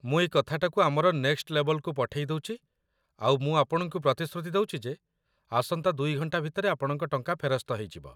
ମୁଁ ଏଇ କଥାଟାକୁ ଆମର ନେକ୍‌ଷ୍ଟ ଲେବ୍‌ଲକୁ ପଠେଇ ଦଉଚି ଆଉ ମୁଁ ଆପଣଙ୍କୁ ପ୍ରତିଶ୍ରୁତି ଦଉଚି ଯେ ଆସନ୍ତା ୨ ଘଣ୍ଟା ଭିତରେ ଆପଣଙ୍କ ଟଙ୍କା ଫେରସ୍ତ ହେଇଯିବ ।